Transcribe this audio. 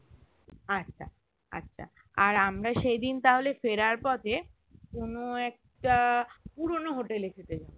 আচ্ছা আচ্ছা আর আমরা সেইদিন তাহলে ফেরার পথে কোনো একটা পুরোনো hotel এ খেতে যাবো